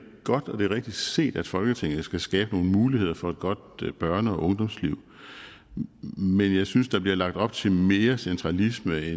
godt og at det er rigtigt set at folketinget skal skabe nogle muligheder for et godt børne og ungdomsliv men jeg synes der bliver lagt op til mere centralisme